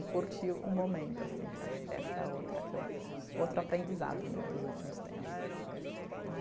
E curtir o momento, assim, que acho que essa é outra que eu, outro aprendizado meu dos últimos tempos né.